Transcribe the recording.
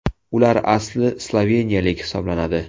Ular asli sloveniyalik hisoblanadi.